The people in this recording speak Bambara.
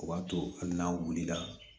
O b'a to hali n'a wulila